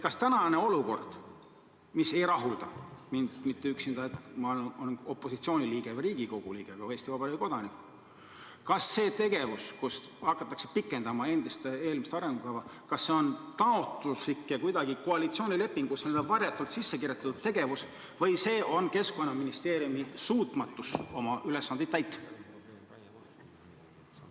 Kas tänane olukord, mis mind ei rahulda – mitte üksnes mind kui opositsiooni liiget või Riigikogu liiget, vaid ka Eesti Vabariigi kodanikku –, see tegevus, et hakatakse pikendama eelmist arengukava, on taotluslik ja koalitsioonilepingusse kuidagi varjatult sisse kirjutatud või on see Keskkonnaministeeriumi suutmatus oma ülesandeid täita?